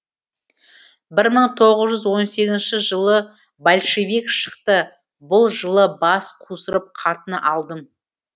бір мың тоғыз жүз он сегізінші жылы большевик шықты бұл жылы бас қусырып қатын алдым